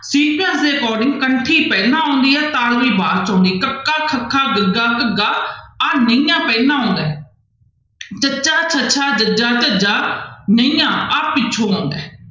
according ਕੰਠੀ ਪਹਿਲਾਂ ਆਉਂਦੀ ਹੈ ਤਾਲਵੀ ਬਾਅਦ 'ਚ ਆਉਂਦੀ ਕੱਕਾ, ਖੱਖਾ, ਗੱਗਾ, ਘੱਘਾ ਆਹ ਨਈਆਂ ਪਹਿਲਾਂ ਆਉਂਦਾ ਹੈ ਚੱਚਾ, ਛੱਛਾ, ਜੱਜਾ, ਝੱਝਾ, ਨਈਆਂ ਆਹ ਪਿੱਛੋਂ ਆਉਂਦਾ ਹੈ।